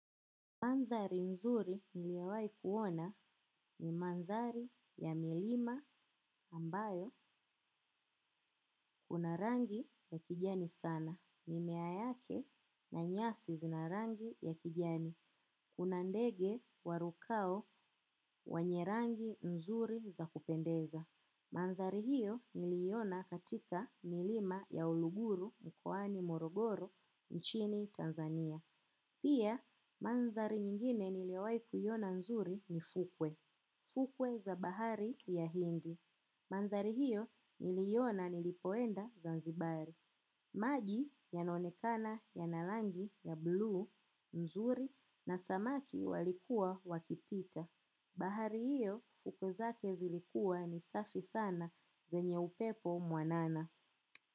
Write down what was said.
Mandhari nzuri niliyowahi kuona ni mandhari ya milima ambayo kuna rangi ya kijani sana. Mimea yake na nyasi zina rangi ya kijani. Kuna ndege warukao wenye rangi nzuri za kupendeza. Mandhari hiyo niliiona katika Milima ya Uluguru mkoani Morogoro nchini Tanzania. Pia mandhari nyingine niliyowahi kuiona nzuri ni fukwe. Fukwe za bahari ya Hindi. Mandhari hiyo niliiona nilipoenda Zanzibar. Maji yanaonekana yana rangi ya buluu nzuri, na samaki walikuwa wakipita. Bahari hiyo, fukwe zake zilikuwa ni safi sana zenye upepo mwanana.